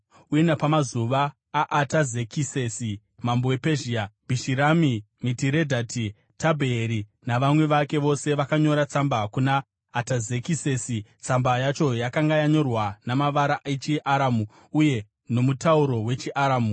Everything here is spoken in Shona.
Uye napamazuva aAtazekisesi mambo wePezhia, Bhishirami, Mitiredhati, Tabheeri navamwe vake vose vakanyora tsamba kuna Atazekisesi. Tsamba yacho yakanga yakanyorwa namavara echiAramu uye nomutauro wechiAramu.